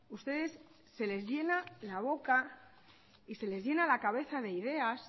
ustedes se les llena la boca y se les llena la cabeza de ideas